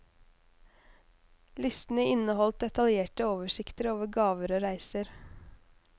Listene inneholdt detaljerte oversikter over gaver og reiser.